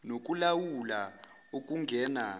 noku lawula okungena